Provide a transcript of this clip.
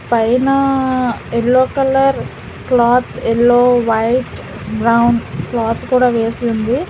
పైనా yellow colour cloth yellow white round cloth కూడా వేసి ఉంది.